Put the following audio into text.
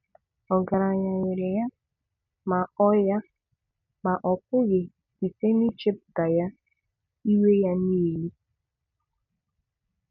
Ọgaranya nwere ya; ma ọ ya; ma ọ pụghị, site n’ichepụta Ya, inwe ya nile.